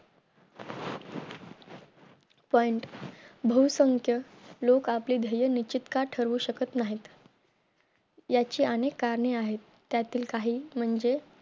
point भूसंख्य लोक आपले ध्येय निश्चित का ठरवू शकत नाहीत त्याची अनेक करणे आहेत त्यातील काही म्हणजे